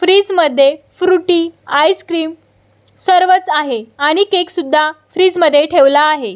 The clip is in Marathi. फ्रीजमध्ये फ्रूटी आइसक्रीम सर्वच आहे आणि केकसुद्धा फ्रीज मध्ये ठेवला आहे.